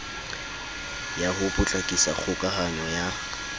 ya ho potlakisa kgokahanyo ya